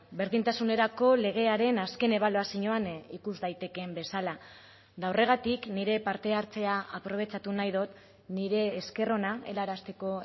berdintasunerako legearen azken ebaluazioan ikus daitekeen bezala eta horregatik nire parte hartzea aprobetxatu nahi dut nire esker ona helarazteko